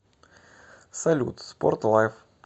салют спорт лайв